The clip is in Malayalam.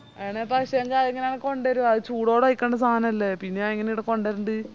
എണെ അത് ഞാനെങ്ങനെയാ കൊണ്ടെരുവ അത് ചൂടോടെ കൈക്കണ്ട സാനല്ലേ പിന്നത് ഞാനെങ്ങനെ കൊണ്ടേരണ്ട്‌